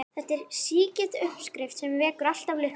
Þetta er sígild uppskrift sem vekur alltaf lukku.